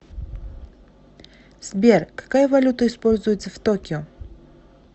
сбер какая валюта используется в токио